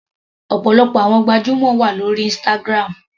Ọ̀pọ̀lọpọ̀ àwọn gbajúmọ̀ wà lórí Instagram.